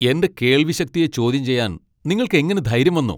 എന്റെ കേൾവിശക്തിയെ ചോദ്യം ചെയ്യാൻ നിങ്ങൾക്ക് എങ്ങനെ ധൈര്യം വന്നു?